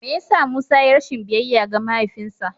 Me ya sa Musa ya yi rashin biyayya ga mahaifinsa?